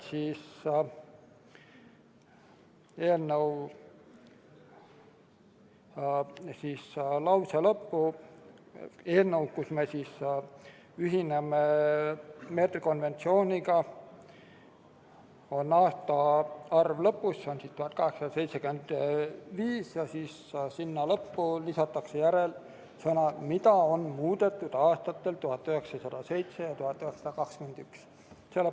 Eelnõu ainsas lauses, kus me kinnitame, et me ühineme meetrikonventsiooniga, oli enne märgitud vaid aastaarvu 1875, aga lause lõppu lisatakse nüüd sõnad "ning mida on muudetud aastatel 1907 ja 1921".